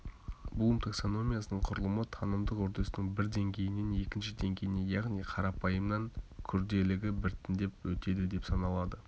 блум таксономиясының құрылымы танымдық үрдістің бір деңгейінен екінші деңгейіне яғни қарапайымнан күрделігі біртіндеп өтеді деп саналады